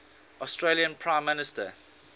australian prime minister